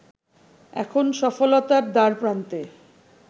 এখন সফলতার দ্বারপ্রান্তে